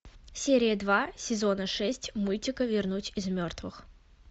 серия два сезона шесть мультика вернуть из мертвых